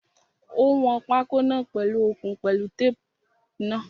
Ó wọn pákó náà pèlu okùn pẹ̀lú tape náà.